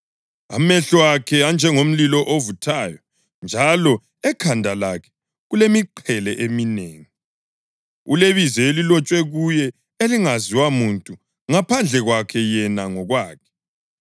Amehlo akhe anjengomlilo ovuthayo njalo ekhanda lakhe kulemiqhele eminengi. Ulebizo elilotshwe kuye elingaziwa muntu ngaphandle kwakhe yena ngokwakhe.